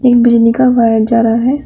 एक बिजली का वायर जा रहा है।